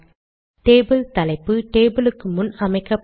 table தலைப்பு table க்கு முன் அமைக்கப்படும்